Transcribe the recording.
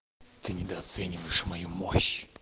ты недооцениваешь мою мощь